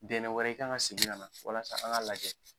Dɛnɛn wɛrɛ i kan ŋa segin kana walasa an ŋa lajɛ.